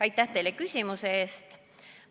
Aitäh teile küsimuse eest!